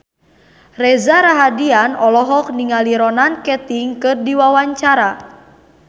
Reza Rahardian olohok ningali Ronan Keating keur diwawancara